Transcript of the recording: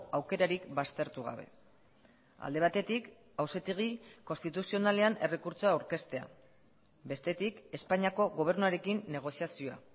aukerarik baztertu gabe alde batetik auzitegi konstituzionalean errekurtsoa aurkeztea bestetik espainiako gobernuarekin negoziazioa